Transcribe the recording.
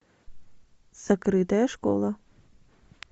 закрытая школа